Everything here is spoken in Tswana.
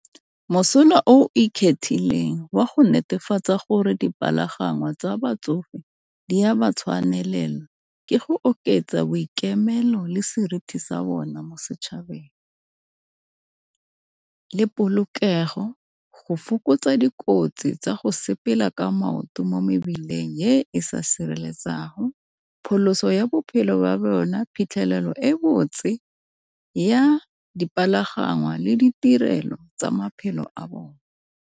Mosola o ikgethileng wa go netefatsa gore dipalangwa tsa batsofe di a ba tshwanela ke go oketsa boikemelo le seriti sa bona mo setšhabeng, le polokego go fokotsa dikotsi tsa go sepela ka maoto mo mebileng e sa sireletsegang. Pholoso ya bophelo ba bona, phitlhelelo e botse ya dipalangwa le ditirelo tsa maphelo a bone.